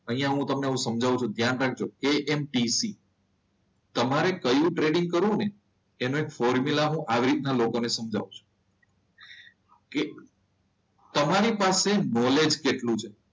અહીંયા હું તમને સમજાવું છું ધ્યાન રાખજો એએમટીસી. તમારે કયું ટ્રેડિંગ કરવું ને એનો એક ફોર્મ્યુલા હું આવી રીતના લોકોને સમજાવું છું. તમારી પાસે નોલેજ કેટલું છે?